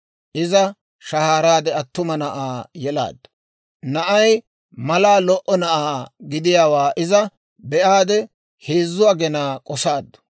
Iza shahaaraade attuma na'aa yelaaddu. Na'ay mallaa lo"o na'aa gidiyaawaa iza be"aade, heezzu aginaa k'osaaddu.